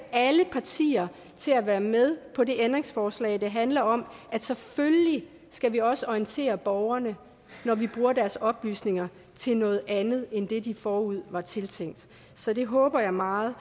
alle partier til at være med på det ændringsforslag der handler om at selvfølgelig skal vi også orientere borgerne når vi bruger deres oplysninger til noget andet end det de forud var tiltænkt så det håber jeg meget